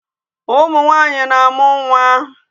Ụmụ nwanyi na-amụ nwa.